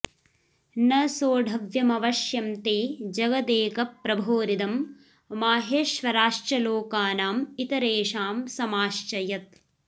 न सोढव्यमवश्यं ते जगदेकप्रभोरिदम् माहेश्वराश्च लोकानामितरेषां समाश्च यत्